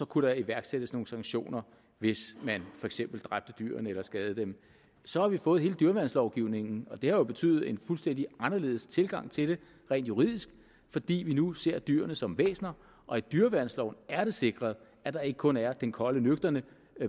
kunne der iværksættes nogle sanktioner hvis man for eksempel dræbte dyrene eller skadede dem så har vi fået hele dyreværnslovgivningen og det har jo betydet en fuldstændig anderledes tilgang til det rent juridisk fordi vi nu ser dyrene som væsener og i dyreværnsloven er det sikret at der ikke kun er den kolde nøgterne